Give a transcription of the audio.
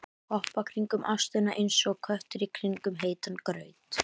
Hoppa kringum ástina einsog köttur í kringum heitan graut.